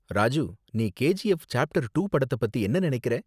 ராஜு, நீ KGF chapter two படத்த பத்தி என்ன நினைக்கற